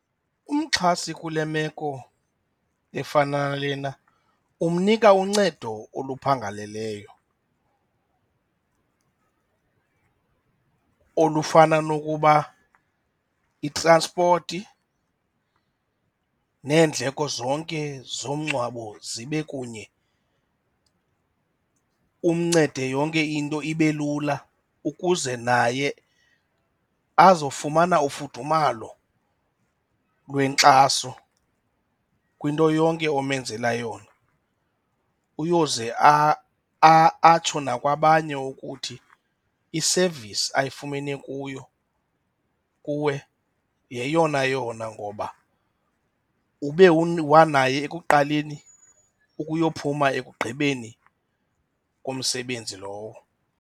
Umxhasi kule meko efana nalena umnika uncedo oluphangaleleyo olufana nokuba itranspoti neendleko zonke zomngcwabo zibe kunye, umncede yonke into ibe lula ukuze naye azofumana ufudumalo lwenkxaso kwinto yonke omenzela yona. Uyoze atsho nakwabanye ukuthi i-service ayifumane kuyo kuwe yeyona yona ngoba ube wanaye ekuqaleni ukuyophuma ekugqibeni komsebenzi lowo.